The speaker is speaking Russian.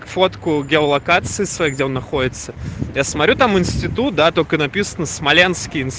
фотку геолокации своих дел находятся для смотрю там институт да только написано смоленский